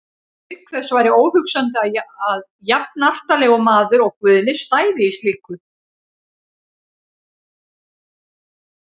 Auk þess væri óhugsandi að jafnartarlegur maður og Guðni stæði í slíku.